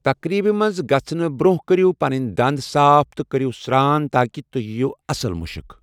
تقریب منٛز گژھنہٕ برونٛہہ کٔرِو پنٕنۍ دَنٛدٕ صاف تہٕ کٔرِو سران تاکہ تُۄہہِ ییٖوٕ اصل مُشُک۔